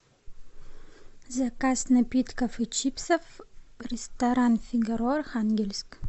заказ напитков и чипсов ресторан фигаро архангельск